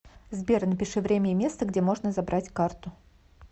сбер напиши время и место где можно забрать карту